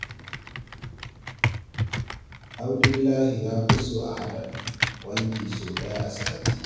Abdullahi ya fi so a haɗa wanki sau ɗaya a sati.